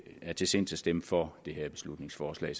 er til sinds at stemme for det her beslutningsforslag i